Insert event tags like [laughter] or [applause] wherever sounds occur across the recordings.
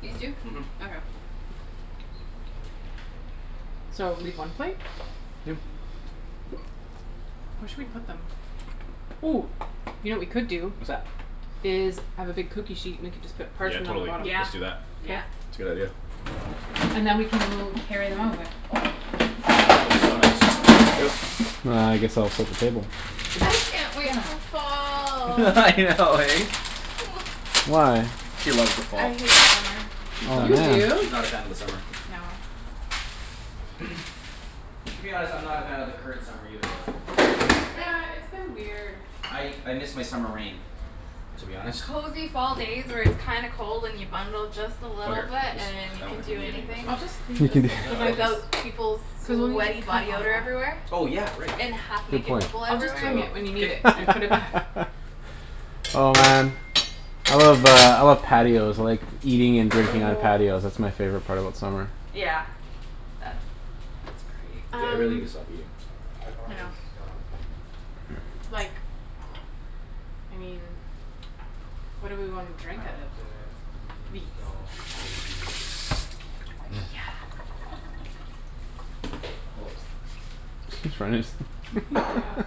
These two? Mhm Okay. So leave one plate? Yeah. Yeah [noise] Where should we put them? Ooh, you know what we could do What's that? Is I have a big cookie sheet and we can just put Yeah parchment on the totally. bottom. Let's Yeah, just do that. yeah. K. It's a good idea. And then we can mo- carry them over. Oh so nice. Here we go. It's And I guess I'll set the table. I can't wait Yeah. for fall. [laughs] I know eh? [noise] Why? She loves the fall I hate summer. She's Oh not a You fan do? of she's man. not a fan of the summer. No. [noise] To be honest I'm not a fan of the current summer either though. Like. Yeah, it's been weird. I I miss my summer rain to be honest. Cozy fall days where it's kinda cold and you bundle just a Over little here bit and just you I don't can think do we need any of this anything. I'll right just here leave this [noise] No and I then don't think just Without peoples' Cuz we'll need sweaty to cut body on odor that. everywhere. Oh yeah right And half Good naked point. people I'll just So everywhere. bring it when you need K it and K put it back. [laughs] Oh man I love uh I love patios like eating and drinking on patios. [noise] That's my favorite part about summer. Yeah. That's K that's great. I really Um gotta stop eating. I know. Like I mean What do we wanna drink out of? These. Yes. [noise] Oops. [noise] Tryin' to just Mhm. [laughs] Yeah. [laughs]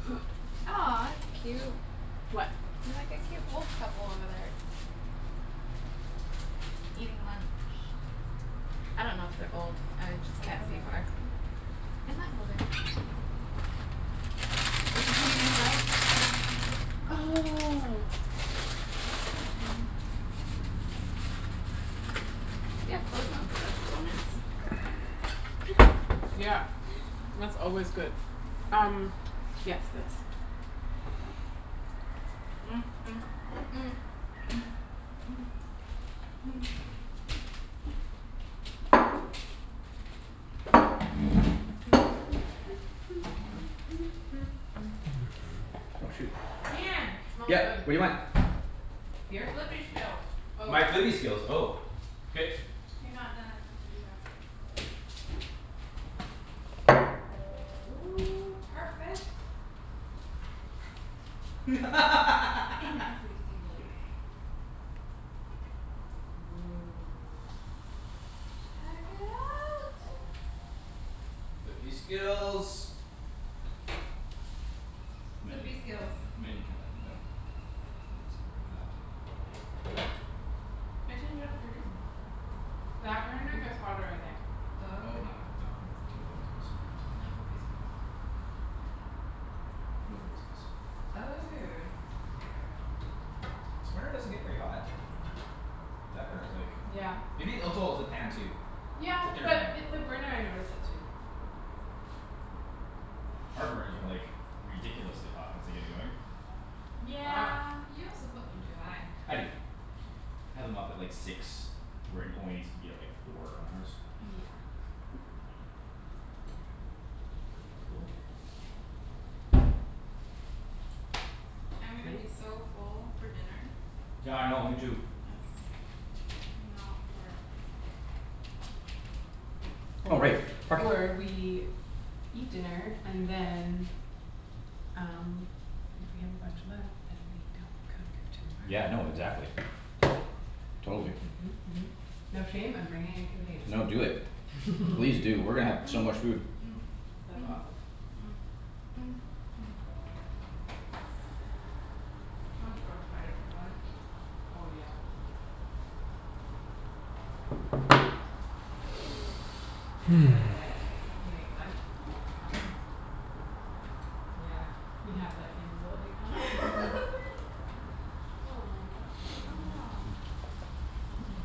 [noise] Aw it's cute. What? Like a cute old couple over there. Eating lunch. I don't know if they're old. I like just Where can't are they? see far. In that building. With the Canadian flag? Oh [noise] They have clothes on, so that's coolness. [noise] Yeah, that's always good. Um. Yes, this. [noise] [noise] [noise] Oh shoot Ian. Smells Yeah good. what do you want? Your Here? flippy skills. Oh. My flippy skills oh K You're not done as my sous chef. Oh perfect. I am perfect. In [laughs] every single way. Woah. Check it out. Flippy skills You might Flippy need you skills. might need to turn that one down. It's getting pretty hot I turned it up for a reason. That [noise] burner gets hotter I think. Oh Oh okay. not like not nope no flippy skills. No flippy skills. Check that one. No flippy skills. Oh. This burner doesn't get very hot. That burner's like Yeah. Maybe oh it's oh it's the pan too. Yeah It's a thinner but pan. it the burner I notice it too. Our burners are like ridiculously hot once they get going. Wow. Yeah. You also put them too high. I do. I had them up at like six where it only needs to be four on ours. Yeah. Cool. I'm gonna be Nice. so full for dinner. Yeah I know me too. Yes, you know for uh Oh Or right, parking. or we Eat dinner and then Um if we have a bunch left then we don't cook Yeah tomorrow. no exactly. Totally. Mhm mhm mhm. No shame, I'm bringing a container. No do it please do [laughs] we're gonna have so much food. That's awesome. [noise] I'm so excited for dunch Oh yeah. Would you like light? We can [noise] make light [noise] happen. Yeah, we have that capability now. [laughs] [laughs] Aw, that's a Oh shame. no. [laughs]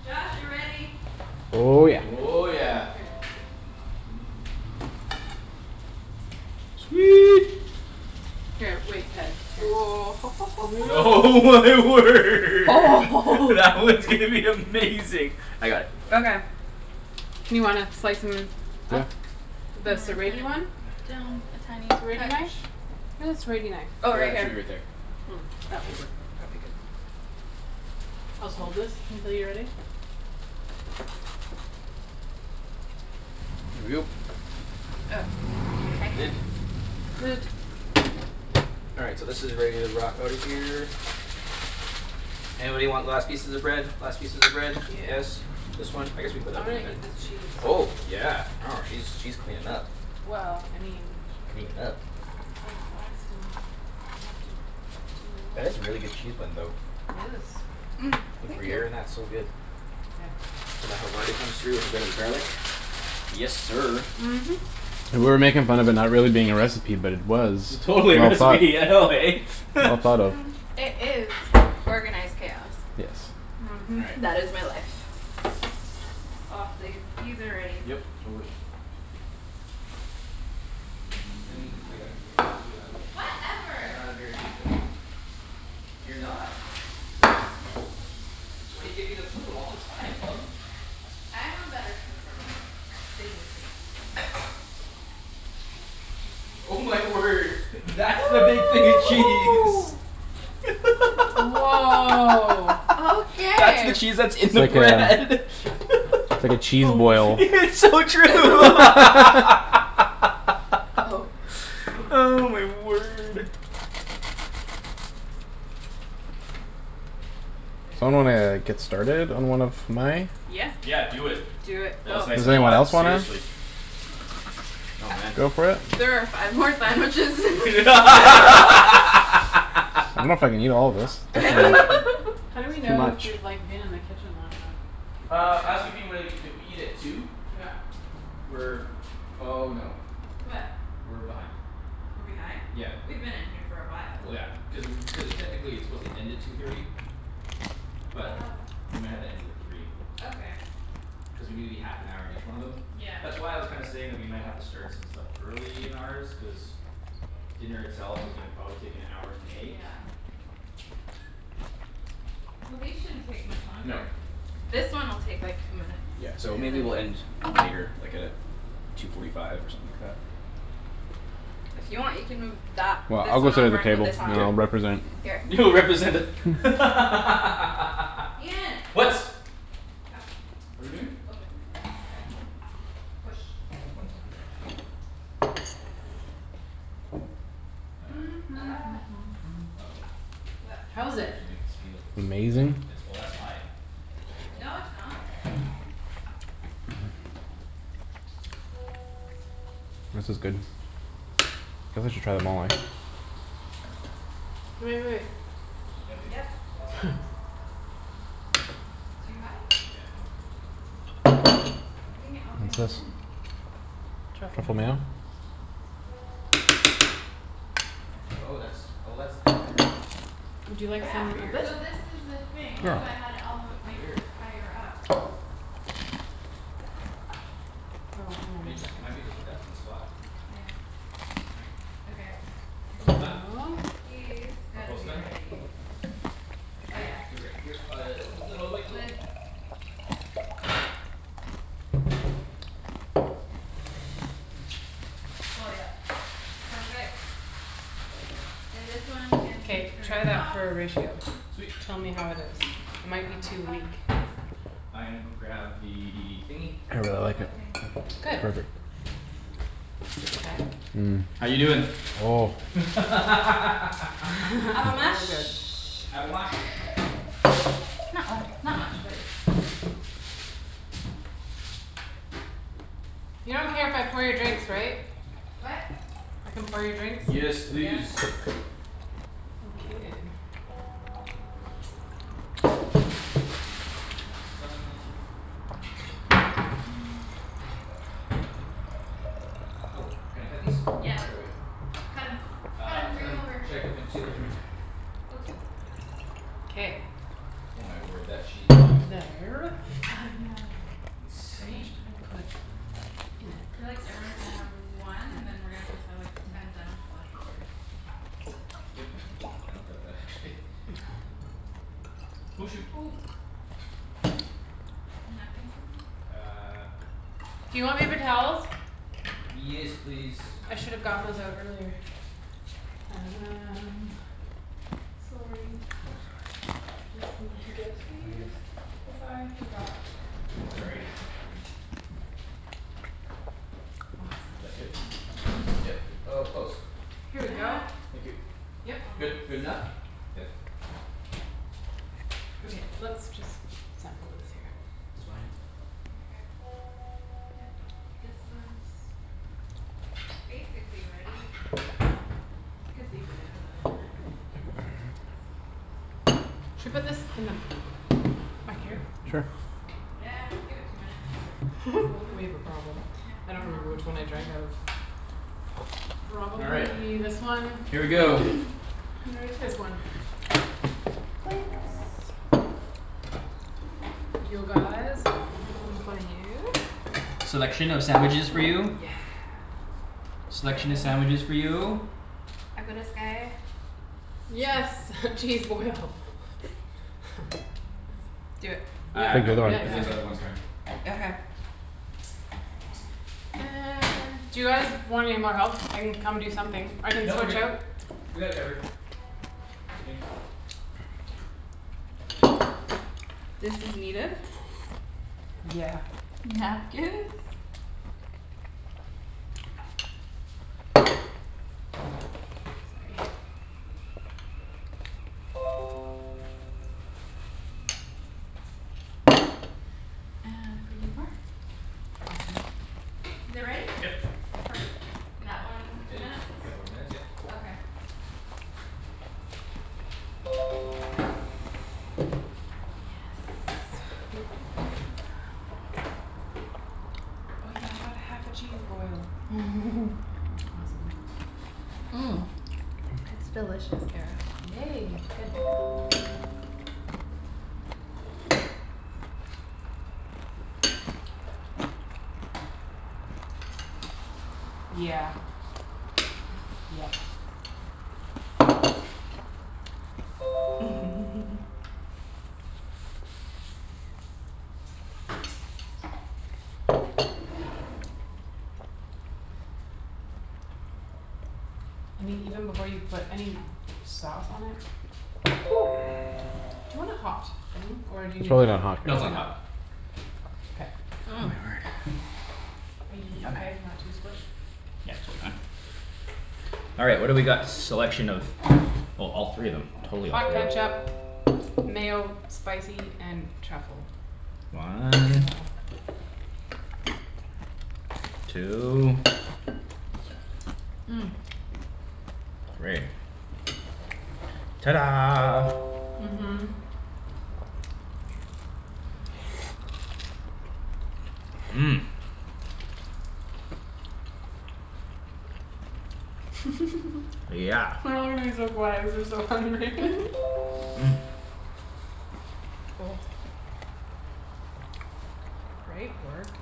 Josh, you're ready. Oh yeah. Oh yeah. Here. Sweet. Sweet. Here, wait, Ped, here. [laughs] Oh my word that [noise] one's gonna be amazing. I got it. Okay You wanna slice 'em Yeah up? The I'm gonna serrate-y turn one? it down a tiny serrate-y knife? touch. Where's the serrate-y knife? I Oh right got here. two right there. [noise] That will work probably good. I'll just hold this until you're ready. Here we go. Oh. Lid. Lid All right so this is where you rock outta here. Anybody want last pieces of bread? Last pieces of bread? Yeah Yes? This one? I guess we can put I'm that gonna one in eat there. this cheese. Oh yeah. I know she's she's cleanin' up Well I mean Cleanin' up. It's like blasphemy. You have to do That is it. a really good cheese blend though. It is. [noise] Think Thank you gruyere in that's so good. There And the havarti comes through with a bit of garlic. Yes sir. Mhm And we're making fun of it not being a recipe but it was. We Totally a all thought recipe I know eh? [laughs] Well thought of. Um it is organized chaos. Yes. Mhm All right. That is my life. Aw th- these are ready. Yep, totally. Lemme I got it you're not You're Whatever. not a very good flipper. You're not. [laughs] That's why you get me to flip 'em all the time, love. I am a better flipper Than you think. Oh my word. That's the big thing of cheese. [noise] Woah [laughs] That's the Okay cheese that's in It's the like a bread. [laughs] It's like a cheese Boom boil. It's so true [laughs] [laughs] Oh Oh god. my word. So I'm There gonna get started on one of my Yeah Yeah do it. Do it. While Go. it's nice Does and Eat. anyone hot, else wanna? seriously. Oh man. Go for it? There are five more sandwiches. [laughs] I dunno if I can [laughs] eat all of this. How do we [laughs] how do we It's too know if much we've like been in the kitchen long enough? Uh I was [inaudible] thinking more like if we eat at two Yeah We're oh no What? We're behind. We're behind? Yeah. We've been in here for a while. Well yeah. Cuz [noise] cuz uh technically it's supposed to end at two thirty. But Oh we might have to end it at three. Okay Cuz we need to be half an hour in each one of them. Yeah That's why I was kinda saying that we might have to start some stuff early in ours cuz Dinner itself is probably gonna take an hour to make. Yeah Well these shouldn't take much No. longer. This one will take like two minutes. Yeah so And maybe then [noise] we'll end later like at uh two forty five or something like that. If you want you can move that Well this I'll go one sit at over the and put table this on and I'll K. represent Here You'll represent [noise] the Ian [laughs] What? Come. What're we doing? Open. Push One second. [noise] Uh [noise] Uh oh. What? That How is it? actually might s- feel like it's done. Amazing. Oh that's high. No it's [noise] not This is good. Feel I should try them all eh? Wai- wai- wait Yeah babe, Yep it's high. [laughs] [laughs] Too high? Yeah. Putting it all the way What's on this? min. Truffle Truffle mayo mayo? Oh Okay that's oh that's there. Would you like Yeah some of Weird this? so this is the thing that's Sure why I had it all the w- Oh like weird. higher up That's good. Oh hang on I mean one it just it second. might be just be that one spot Yeah [noise] Okay I think Almost done? [noise] These All gotta close be to done? ready. Oh yeah. They're ready uh [noise] all the way, go. Lid Oh yep. Perfect. And this one can be K turned try that off. for a ratio. Sweet Tell me how it is. It Put it might be on the too back weak. I gonna go grab the thingy I really like What it. thing? It's Good. perfect. Okay. How you doin'? [noise] [laughs] Avo [laughs] Oh mash. good Avo mash. Not uh not much but You don't care if I pour your [noise] drinks Sorry. right? What? I can pour your drinks? Yes Yes please. Okay That's done. [noise] Oh can I cut these? Yeah Should I wait? cut 'em cut 'em Uh cut bring 'em 'em over. should I cut 'em in two or three? [noise] Go two K K Oh my word that cheese block is like There I know How much Insane. did I put in it? Feel like everyone's gonna have one and then [noise] we're just gonna have like ten sandwiches left over. Yep. I don't doubt that actually [laughs] [noise] Oh shoot. [noise] Napkin somewhere? Uh Do you want paper towels? Yes please. I should've gotten those out earlier. Um Sorry Just need to get these cuz I forgot before. Is Awesome that good? Yep. Oh close. Here we go. Yeah Thank you. Yep. Good. Almost Good enough? Good? Okay, let's just sample this here. Just behind you. Okay Yep nope this one's Basically ready. Could leave it in another minute. K Let's see what this one's doing. Should put this in the Not yet. back Almost here. ready? Sure Yeah give it two minutes. K Let's go [laughs] over. We have a problem. K I and don't then I'll remember come which check one in I two drank minutes. out of. All right, Probably this one. here we Wait. go. [noise] [noise] This one. Plates You guys One for you Selection of sandwiches for you. Yes Selection of sandwiches for you. [noise] I got us guy Yes [laughs] cheese boil. [laughs] Do it. Yeah Uh Think no we got I'm yeah it. cuz yeah there's other ones coming. Okay okay. And Do you guys want any more help? I can come do something. I can No we're switch good. out We got it covered. I think. This is needed. Yeah Napkins. Sorry And [inaudible] Awesome Is it ready? Yep. Perfect. That one, It two just minutes? couple of minutes yeah. Okay Yes Yes [noise] Oh yeah I got half a cheese boil. [laughs] That's awesome. [noise] It's delicious, Kara. Yay good Yeah Yep [laughs] I mean even before you put any sauce on it [noise] Do [noise] you wanna hot thing? Or do you It's need really not hot. No it's not probably hot. not K Oh my word [noise] Are you yummy okay? Not too squished? Yeah totally fine. All right, what do we got selection of? Oh totally all three of them. Totally all Hot three. ketchup, mayo, spicy, and truffle. One. Mayo Two. [noise] Three. Ta da Mhm Mhm [noise] [laughs] Yeah We're all gonna be so quiet cuz we're so hungry [laughs] [laughs] [noise] [noise]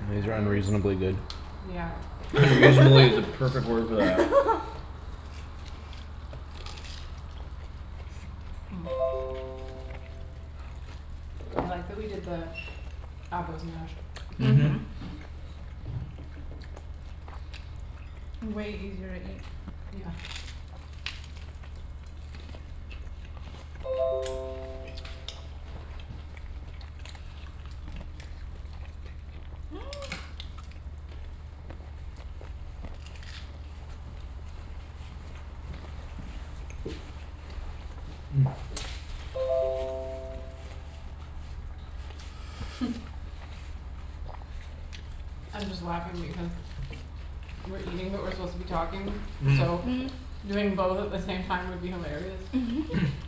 These are unreasonably good. Yeah "Unreasonably" is the perfect word for that. [laughs] [noise] I like that we did the avos mashed Mhm. Mhm Way easier to eat. Yeah [noise] [noise] [noise] [laughs] I'm just laughing because We're eating but we're supposed to be talking so [noise] [noise] Doing both at the same time would be hilarious [laughs]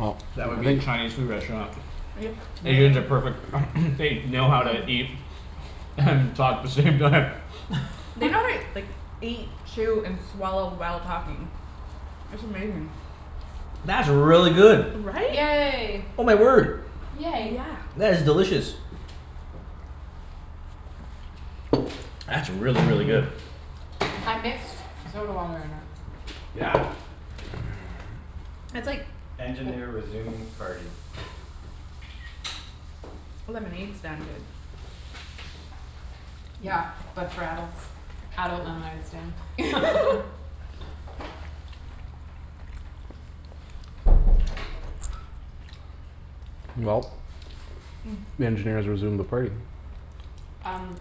Well that would be a Chinese food restaurant. Yep Really? Asians are perfect [noise] they know how to eat And talk the same time. They [laughs] know how to like eat chew and swallow while talking. That's amazing. That's really good. Right? Yay Oh my word, Yay Yeah that's delicious. That's really really good. I mixed soda water in it. Yeah. [noise] That's like [noise] Lemonade stand good Yeah. But for adults. Adult lemonade stand. [laughs] [laughs] Well, the engineer's resumed the party. Um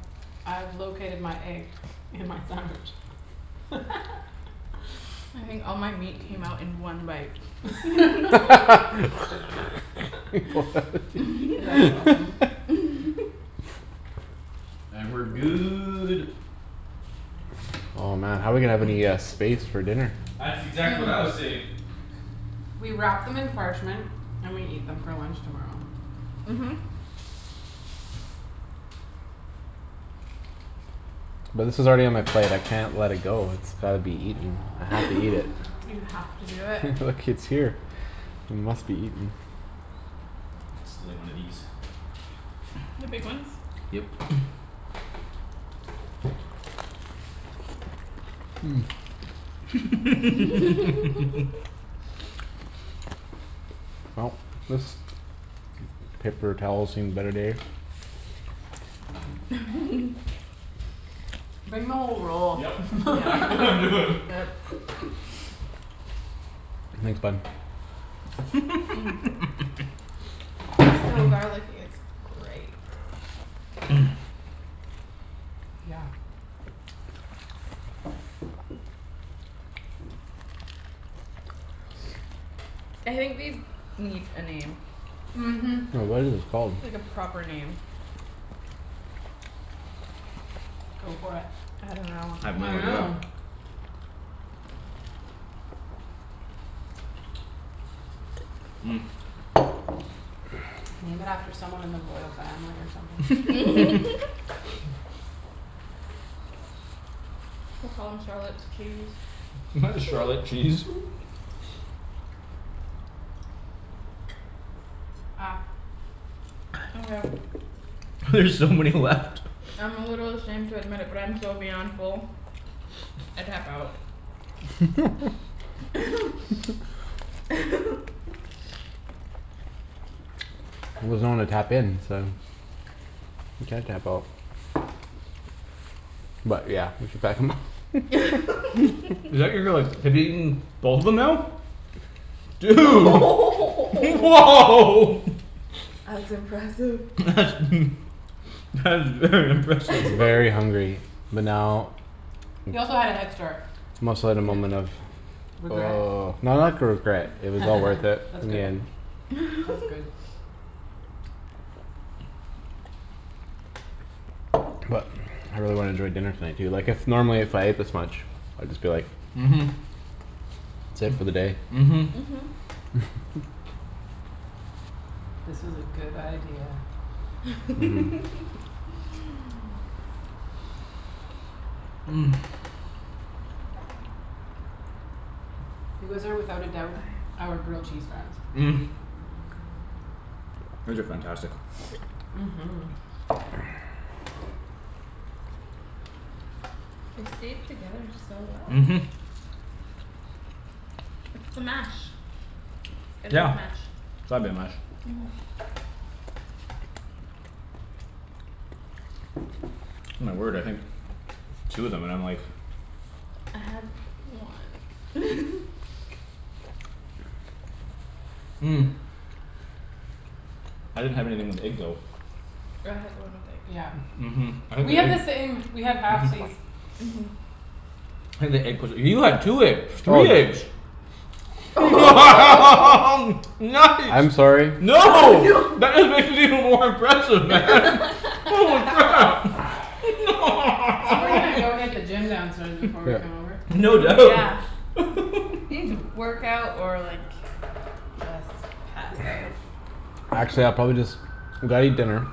I've located my egg in my sandwich. [laughs] I think all my meat came out in one bite. [laughs] [laughs] [laughs] [noise] That's awesome. [laughs] [laughs] And we're good. Oh man how we gonna have any uh space for dinner? That's exactly what I was saying. [noise] We wrap them in parchment and we eat them for lunch tomorrow. Mhm But this is already on my plate I can't let it go it's gotta be eaten. I [laughs] have to eat it. You have to do it. [laughs] Look it's here. It must be eaten. Stealing one of these. The big ones? Yep [noise] [noise] [laughs] [laughs] Well this paper towel's seen better days. [laughs] Bring the whole roll. Yup, Yeah. it's exactly what I'm doing. Yep. [laughs] Thanks bud [noise] [laughs] So [noise] garlicky [noise] it's great [noise] [noise] Yeah I think these need a name Mhm [noise] What is this called? Like a proper name. Go for it. I dunno I have no I idea. know. [noise] Name it after someone in the royal family or something [laughs] [laughs] [laughs] [laughs] We'll call 'em Charlotte's cheese. Why Charlotte cheese? Ah Okay [noise] There's so many left I'm a little ashamed to admit it but I am so beyond full I tap out. [laughs] [laughs] He doesn't wanna tap in so You can't tap out. But yeah, we should pack 'em up [laughs] Is that [laughs] you're you're like have you eaten both of them now? Dude [laughs] woah [laughs] That's impressive. That's [laughs] that's very impressive. Very [laughs] hungry, but now He also had a head start. Must let a moment [noise] of [noise] Regret? no not for regret. It [laughs] was all worth it That's in the good. end. That's good. [laughs] But I really wanna enjoy dinner tonight. Du- like if normally if I ate this much I'd just be like Mhm. That's it for the day. Mhm. Mhm This was a good idea. [noise] [laughs] [noise] [noise] You guys are without a doubt Aye our grilled cheese friends. [noise] [noise] These are fantastic. Mhm Yeah They stayed together so well. Mhm. It's the mash. It's gotta be Yeah. the mash. It's gotta be the mash. [noise] My word I think two of 'em and I'm like. I had one [laughs] [noise] I didn't have anything with egg though. Oh I had the one with egg. Yeah Mhm I had We the have egg the same. We have mhm halfsies. Mhm I think the egg 'pposed to you had two egg three Stolen. eggs. [laughs] [laughs] I'm Nice. sorry. Oh No. no That is even more impressive man. Holy crap. [laughs] [laughs] So we're gonna go hit the gym downstairs before we come Yeah over. No Dude doubt. yeah [laughs] You need to work out or like just pass out. Actually I'll probably just gotta eat dinner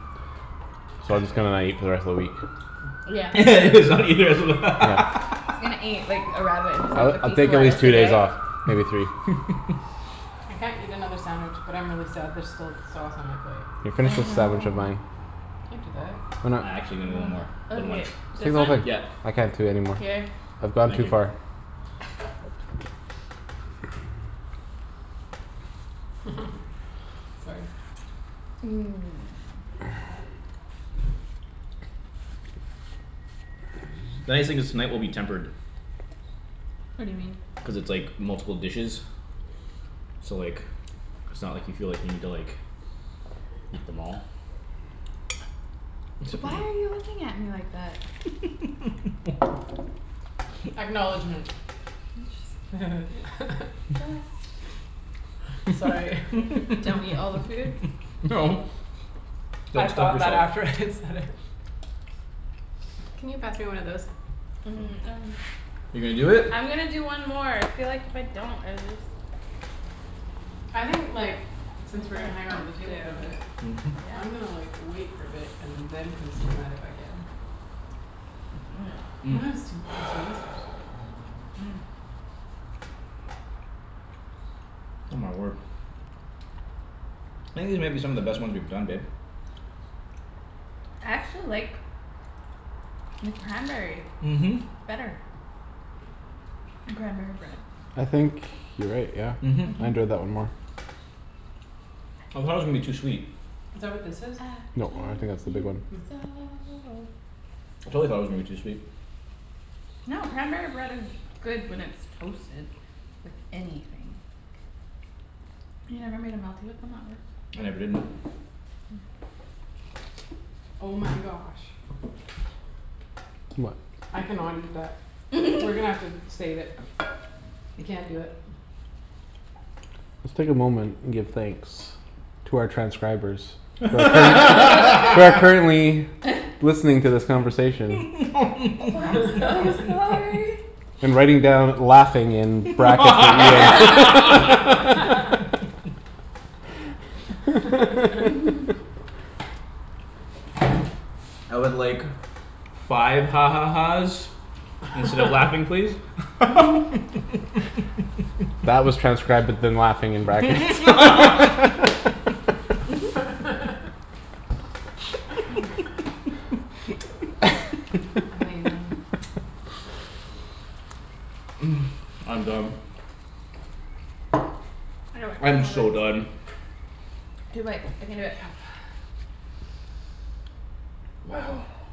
So I just gonna not eat for the rest of the week. Yeah [laughs] just not eat the rest of the [laughs] Yeah He's gonna eat like a rabbit and just like I'll a like I'll piece take of at least lettuce two a days day. off. Maybe three. [laughs] I can't eat another sandwich but I'm really sad there's still sauce on my plate. Yo I finish with know sandwich of mine. I can do that. Why I not? actually gonna one more. [noise] For the one. Okay, Take this a one? whole thing. Yeah. I can't do anymore. Here I've gone Thank too you. far. [laughs] [laughs] Sorry. [noise] [noise] Nice thing is tonight will be tempered. What do you mean? Cuz it's like multiple dishes. So like it's not like you feel like you need to like Eat them all. [noise] Except Why you. are you looking at me like that? Acknowledgment [laughs] I'm just [laughs] [laughs] Just Sorry [laughs] Don't eat all the food [laughs] No I Don't stop thought that yourself. after I said it. Can you pass me one of those? [noise] Um I'm You're gonna do it? I'm gonna do one more. I feel like if I don't I would just I think like since we're gonna That hang out at the I table for a have bit to I'm gonna Yeah like wait for a bit and then consume that if I can. [noise] But I'm gonna still [noise] consume this first. [noise] [noise] Oh my word. I think these might be some of the best ones we've done, babe. I actually like the cranberry Mhm. better. Cranberry bread I think you're right yeah. Mhm I enjoyed that one Mhm. more. I thought it was gonna be too sweet. Is that what this is? I No, I don't told think that's the big you one. [noise] so I totally thought it was gonna be too sweet. No cranberry bread is good when it's toasted with anything. You never made a melty with them at work? I never did, no. Oh my gosh I cannot eat that. We're gonna [laughs] have to save it. I can't do it. Just take a moment and give thanks to our transcribers Who are current who are currently [laughs] [laughs] Listening to this conversation. Oh I'm [laughs] so sorry. And writing down "laughing" in brackets and Ian [laughs] [laughs] [laughs] [laughs] [laughs] I would like five ha ha ha's Instead of "laughing" please. [laughs] [laughs] [laughs] That was transcribed with the "laughing" in brackets. [laughs] [laughs] [laughs] [laughs] Amazing. [laughs] [noise] I'm done. I can do I'm it. Two more so done. bites. Two bites, I can do it. Yep Wow. [noise] [noise]